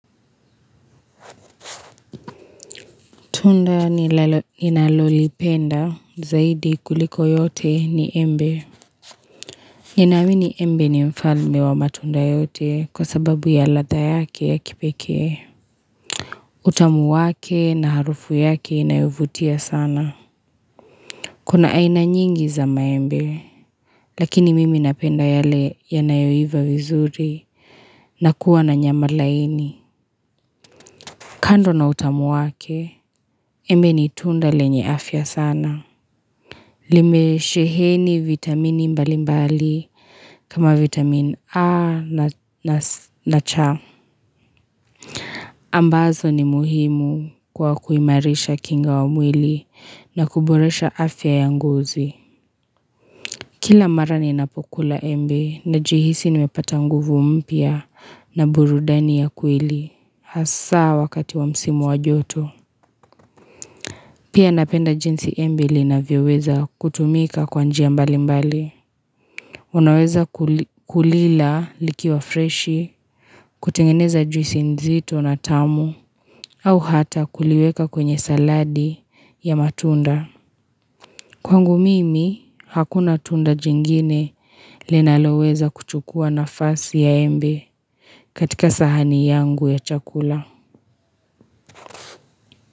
Tunda nilalolipenda zaidi kuliko yote ni embe. Ninaamini embe ni mfalme wa matunda yote kwa sababu ya ladha yake ya kipekee. Utamu wake na harufu yake inayovutia sana. Kuna aina nyingi za maembe. Lakini mimi napenda yale yanayoiva vizuri na kuwa na nyamalaini. Kando na utamu wake, embe ni tunda lenye afya sana. Limesheheni vitamini mbalimbali kama vitamini A na C ambazo ni muhimu kwa kuimarisha kinga ya mwili na kuboresha afya ya ngozi Kila mara ninapo kula embe najihisi nimepata nguvu mpya na burudani ya kweli hasa wakati wa msimu wa joto. Pia napenda jinsi embe linavyoweza kutumika kwa njia mbalimbali Unaweza kulila likiwa freshi kutengeneza juisi nzito na tamu au hata kuliweka kwenye saladi ya matunda Kwangu mimi, hakuna tunda jingine linaloweza kuchukua nafasi ya embe katika sahani yangu ya chakula.